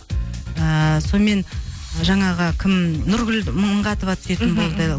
ыыы сонымен жаңағы кім нұргүл мыңғатова түсетін болды